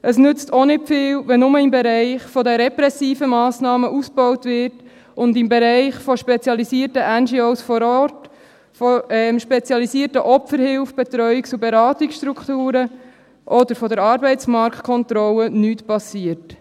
Es nützt auch nicht viel, wenn nur im Bereich der repressiven Massnahmen ausgebaut wird und im Bereich der spezialisierten NGOs vor Ort, der spezialisierten Opferhilfe, der Betreuungs- und Beratungsstrukturen oder der Arbeitsmarktkontrolle nichts passiert.